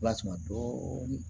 Lasuma dɔɔnin